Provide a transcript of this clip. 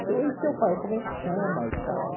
Falei, ô e teu pai, como é que chama e tal?